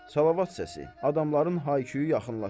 Salavat səsi, adamların hayküyü yaxınlaşır.